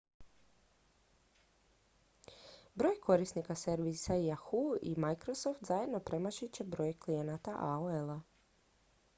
broj korisnika servisa yahoo i microsoft zajedno premašit će broj klijenata aol-a